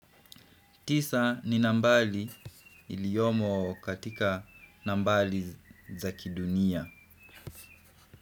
Tisa ni nambali iliyomo katika nambali za kidunia.